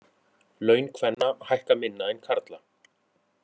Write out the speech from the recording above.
Laun kvenna hækka minna en karla